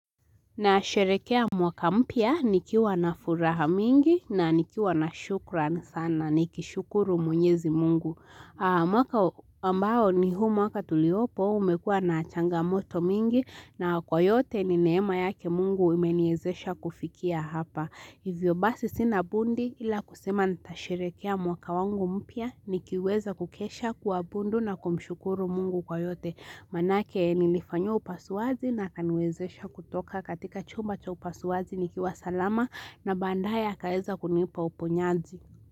Nasherehekea mwaka mpya nikiwa na furaha mingi na nikiwa na shukran sana nikishukuru mwenyezi mungu. Mwaka ambao ni huu mwaka tuliopo umekua na changamoto mingi na kwa yote ni neema yake mungu imeniwezesha kufikia hapa. Hivyo basi sina budi ila kusema nitasherehekea mwaka wangu mpya nikiweza kukesha kuabudu na kumshukuru mungu kwa yote. Manake nilifanyiwa upasuaji na akaniwezesha kutoka katika chumba cha upasuaji nikiwa salama na baadae akaweza kunipa uponyaji.